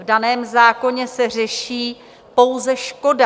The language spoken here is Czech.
V daném zákoně se řeší pouze škoda.